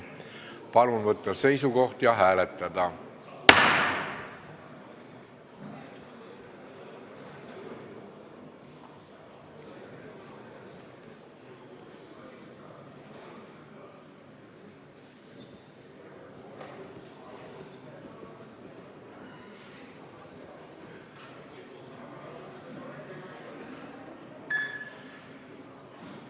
Palun võtta seisukoht ja hääletada!